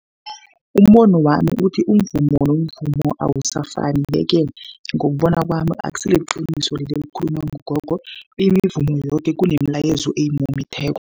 Umbono wami uthi umvumo nomvumo awusafani, ye-ke ngokubona kwami akusiliqiniso leli elikhulunywa ngugogo. Imivumo yoke kunemilayezo eyimumetheko.